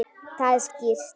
Það er skýrt.